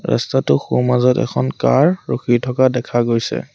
ৰাস্তাটোৰ সোঁ মাজত এখন কাৰ ৰখি থকা দেখা গৈছে।